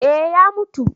eh ya mutu